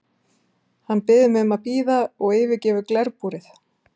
Hann biður mig að bíða og yfirgefur glerbúrið.